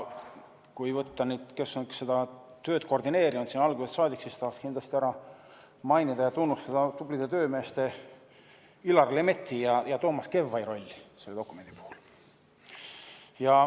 Kui võtta nüüd, kes on seda tööd koordineerinud algusest saadik, siis tahaksin kindlasti ära mainida ja tunnustada tublide töömeeste Illar Lemetti ja Toomas Kevvai rolli selle dokumendi puhul.